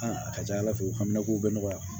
a ka ca ala fɛ u hami ko bɛ nɔgɔya